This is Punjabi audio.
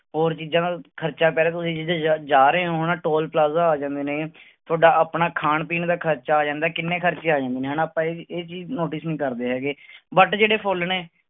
ਹੋਰ ਚੀਜ਼ਾਂ ਦਾ ਖ਼ਰਚਾ ਪੈ ਰਿਹਾ ਤੁਸੀਂ ਜਿੱਥੇ ਜ ਜਾ ਰਹੇ ਹੋ ਹਨਾ ਟੋਲ ਪਲਾਜਾ ਆ ਜਾਂਦੇ ਨੇ, ਤੁਹਾਡਾ ਆਪਣਾ ਖਾਣ ਪੀਣ ਦਾ ਖ਼ਰਚਾ ਆ ਜਾਂਦਾ, ਕਿੰਨੇ ਖ਼ਰਚੇ ਆ ਜਾਂਦੇ ਨੇ ਹਨਾ ਆਪਾਂ ਇਹ ਚੀਜ਼ notice ਨੀ ਕਰਦੇ ਹੈਗੇ but ਜਿਹੜੇ ਫੁੱਲ ਨੇ।